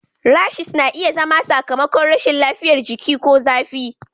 Rashes na iya zama sakamakon rashin lafiyar jiki ko zafi.